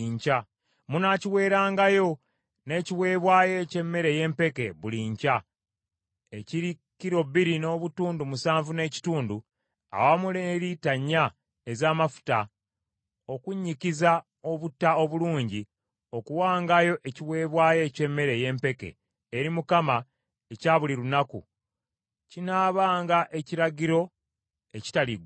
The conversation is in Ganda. Munaakiweerangayo n’ekiweebwayo eky’emmere ey’empeke buli nkya, ekiri kilo bbiri n’obutundu musanvu n’ekitundu awamu ne lita ennya ez’amafuta okunnyikiza obutta obulungi okuwangayo ekiweebwayo eky’emmere ey’empeke eri Mukama ekya buli lunaku; kinaabanga ekiragiro ekitaliggwaawo.